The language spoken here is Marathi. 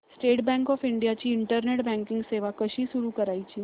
स्टेट बँक ऑफ इंडिया ची इंटरनेट बँकिंग सेवा कशी सुरू करायची